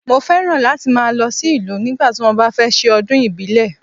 Mọ fẹ́ràn láti ma lọ sí ìlú nígbà tí wọn bá fẹ́ ṣe ọdún ìbílẹ̀.